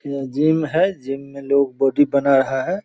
यह जिम है। जिम में लोग बॉडी बना रहा है।